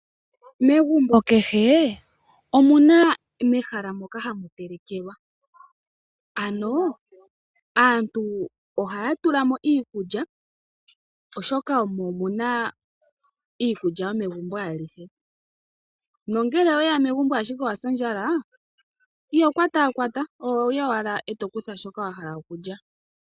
Megumbo kehe omu na mehala moka ha mu telekelwa ano aantu ohaya tulamo iikulya oshoka omo mu na iikulya yomegumbo ayihe nongele owe ya megumbo ashike owa sa ondjala iho kwatakwata oho yi owala eto kutha shoka wa hala okulya.